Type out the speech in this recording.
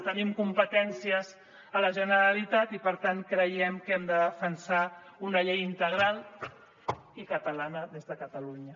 tenim competències a la generalitat i per tant creiem que hem de defensar una llei integral i catalana des de catalunya